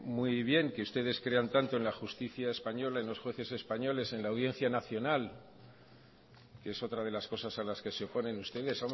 muy bien que ustedes crean tanto en la justicia española y en los jueces españoles en la audiencia nacional que es otra de las cosas a las que se oponen ustedes